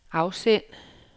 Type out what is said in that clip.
afsend